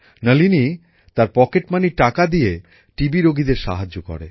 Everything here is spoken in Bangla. নলিনী তার পকেট মানির টাকা দিয়ে টিবিরোগীদের সাহায্য করে